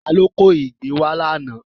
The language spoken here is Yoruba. Ta ni ó kó ìgbín wá lánàá?